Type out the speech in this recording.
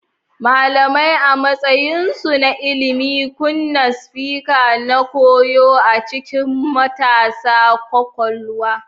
Malamai, a matsayinsu na ilimi, kunna spark na koyo a cikin matasa kwakwalwar.